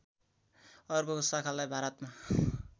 अर्को शाखालाई भारतमा